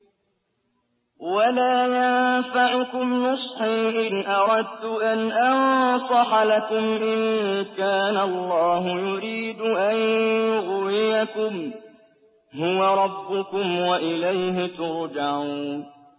وَلَا يَنفَعُكُمْ نُصْحِي إِنْ أَرَدتُّ أَنْ أَنصَحَ لَكُمْ إِن كَانَ اللَّهُ يُرِيدُ أَن يُغْوِيَكُمْ ۚ هُوَ رَبُّكُمْ وَإِلَيْهِ تُرْجَعُونَ